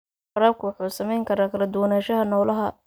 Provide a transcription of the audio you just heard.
Waraabka wuxuu saameyn karaa kala duwanaanshaha noolaha.